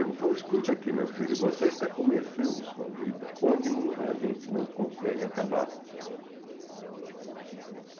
Ele me falou, escuta aqui, meu filho, você está começando sua vida onde muita gente não consegue acabar.